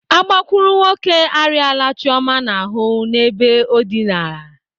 Agbakurunwoke arịala Chioma n'ahụ n'ebe o dịnara.